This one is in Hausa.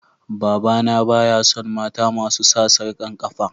Baba na baya son mata masu sa sarkan kafa.